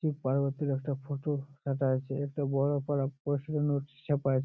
শিব পার্বতীর একটা ফটো রাখা আছে একটা বড়ো করা ছাপা --